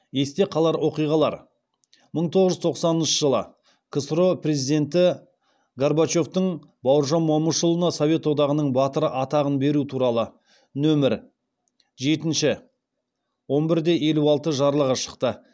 есте қалар оқиғалар мың тоғыз жүз тоқсаныншы жылы ксро президенті горбачевтың бауыржан момышұлына совет одағының батыры атағын беру туралы нөмір жетінші он бір де елу алты жарлығы шықты